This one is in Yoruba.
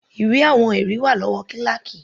Ìwé àwọn ẹ̀rí wà lọ́wọ́ kíláákì.